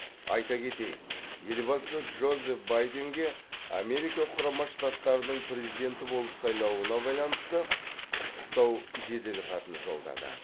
айта кетейік елбасы джозеф байденге америка құрама штаттарының президенті болып сайлауына байланысты құттықтау жеделхатын жолдады